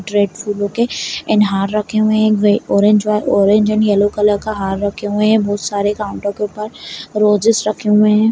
रेड फूलों के एंड हार रखे हुए हैं एक वे orange orange and yellow colour का हार रखे हुए हैं बहोत काउंटर के ऊपर रोजेज रखे हुए हैं।